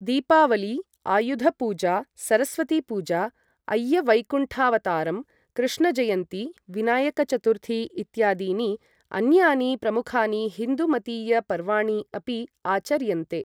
दीपावली, आयुधपूजा, सरस्वतीपूजा, अय्यवैकुण्ठावताराम्, कृष्णजयन्ती, विनायकचथुर्थी इत्यादीनि अन्यानि प्रमुखानि हिन्दु मतीय पर्वाणि अपि आचर्यन्ते।